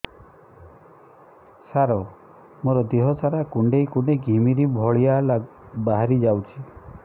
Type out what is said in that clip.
ସାର ମୋର ଦିହ ସାରା କୁଣ୍ଡେଇ କୁଣ୍ଡେଇ ଘିମିରି ଭଳିଆ ବାହାରି ଯାଉଛି